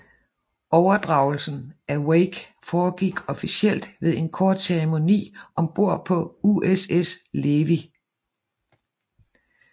Overdragelsen af Wake foregik officielt ved en kort ceremoni om bord på USS Levy